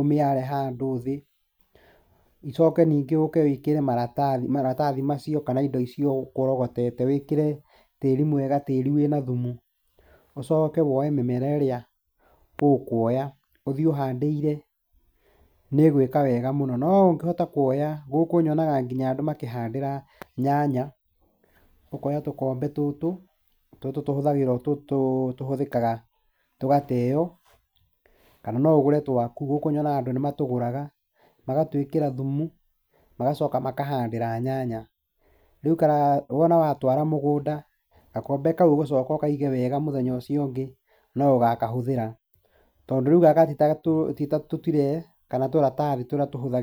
ũmĩare handũ thĩ, icoke ningĩ ũke wĩkĩre maratathi macio kana indo icio ũkũrogotete, wĩkĩre tĩri mwega tĩri wĩna thumu, ũcoke woe mĩmera ĩrĩa ũkuoya, ũthiĩ ũhandĩire, nĩ ĩgwĩka wega mũno. No ũngĩhota kuoya, gũkũ nyonaga nginya andũ makĩhandĩra nyanya, ũkoya tũkombe tũtũ, tũtũ tũhũthagĩrwo tũtũ tũhũthĩkaga tũgateo, kana no ũgũre twaku, gũkũ nyonaga andũ nĩ matũgũraga, magatwĩkĩra thumu magacoka makahandĩra nyanya, rĩu wona watwara mũgũnda, gakombe kau ũgũcoka ũkaige wega mũthenya ũcio ũngĩ no ũgakahũthĩra. Tondũ rĩu gaka ti ta tũtire kana tũratathi tũrĩa tũhũthagĩrwo.